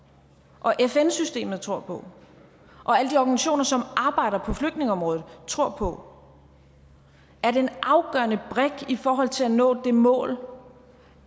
og fn systemet tror på og alle de organisationer som arbejder på flygtningeområdet tror på at en afgørende brik i forhold til at nå det mål